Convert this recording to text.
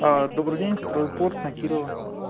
добрый день стройпорт на кирова